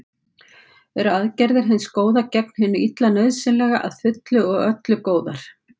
Eru aðgerðir hins góða gegn hinu illa nauðsynlega að fullu og öllu góðar?